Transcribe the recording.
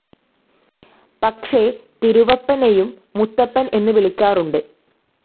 പക്ഷേ തിരുവപ്പനെയും മുത്തപ്പൻ എന്ന് വിളിക്കാറുണ്ട്.